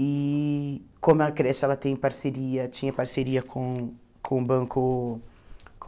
E como a creche, ela tem parceria, tinha parceria com com o Banco